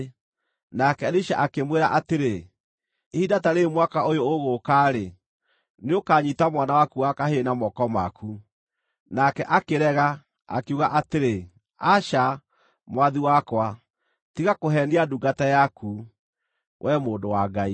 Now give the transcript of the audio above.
Nake Elisha akĩmwĩra atĩrĩ, “Ihinda ta rĩĩrĩ mwaka ũyũ ũgũũka-rĩ, nĩũkanyiita mwana waku wa kahĩĩ na moko maku.” Nake akĩrega, akiuga atĩrĩ, “Aca, mwathi wakwa, tiga kũheenia ndungata yaku, wee mũndũ wa Ngai!”